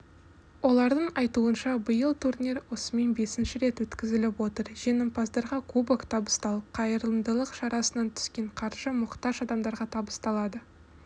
олардың айтуынша биыл турнир осымен бесінші рет өткізіліп отыр жеңімпаздарға кубок табысталып қайырымдылық шарасынан түскен қаржы мұқтаж адамдарға табысталады